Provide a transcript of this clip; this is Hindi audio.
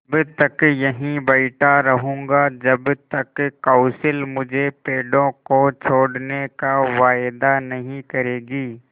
तब तक यहीं बैठा रहूँगा जब तक कौंसिल मुझे पेड़ों को छोड़ने का वायदा नहीं करेगी